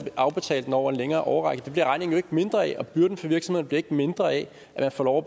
afbetale den over en længere årrække det bliver regningen jo mindre af og byrden for virksomheden bliver ikke mindre af at man får lov